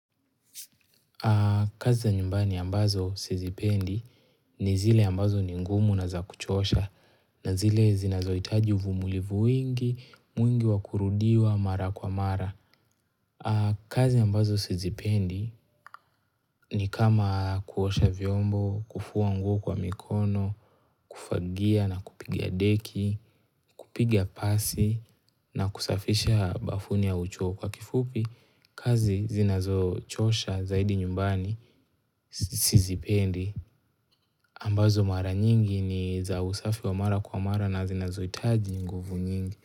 Kazi ya nyumbani ambazo sizipendi ni zile ambazo ni ngumu na za kuchosha na zile zinazohitaji uvumulivu wingi, mwingi wa kurudiwa mara kwa mara. Kazi ambazo sizipendi ni kama kuosha vyombo, kufua nguo kwa mikono, kufagia na kupiga deki, kupiga pasi na kusafisha bafuni au choo kwa kifupi. Kazi zinazochosha zaidi nyumbani sizipendi. Ambazo mara nyingi ni za usafi wa mara kwa mara na zinazohitaji nguvu nyingi.